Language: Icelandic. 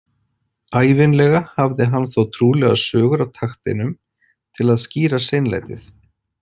Ævinlega hafði hann þó trúlegar sögur á takteinum til að skýra seinlætið.